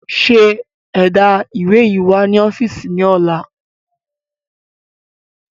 ṣe ẹ̀dá ìwé yíi wá ni ọ́fíìsì ni ọ̀la!